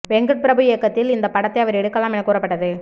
வெங்கட்பிரபு இயக்கத்தில் இந்த படத்தை அவர் எடுக்கலாம் என கூறப்பட்டது